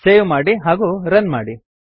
save ಮಾಡಿ ಹಾಗೂ run ಮಾಡಿ